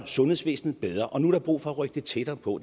sundhedsvæsenet bedre og nu er der brug for at rykke det tættere på og